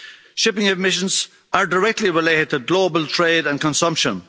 Shipping emissions are directly related to global trade and consumption.